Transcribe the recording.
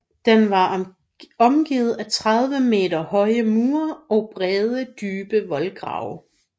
Den var omgivet af 30 meter høje mure og brede dybe voldgrave